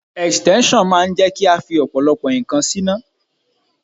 Ẹ̀stẹ́nṣọ̀n máa ń jẹ́ kí a fi ọ̀pọ̀lọpọ̀ ǹkan síná.